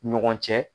Ni ɲɔgɔn cɛ